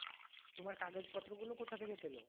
তোমার কাগজ পত্র গুলো কথা থেকে পেলো?